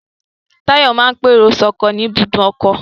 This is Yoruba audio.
Táyọ̀ máa ń pèrò sọ́kọ̀ ní ibùdó ọkọ̀